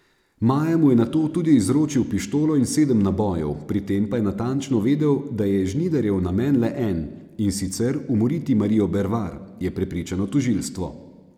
Maja mu je nato tudi izročil pištolo in sedem nabojev, pri tem pa je natančno vedel, da je Žnidarjev namen le en, in sicer umoriti Marijo Bervar, je prepričano tožilstvo.